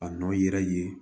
A nɔ yɛrɛ ye